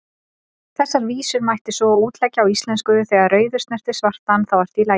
Þessar vísur mætti svo útleggja á íslensku: Þegar rauður snertir svartan, þá ertu í lagi,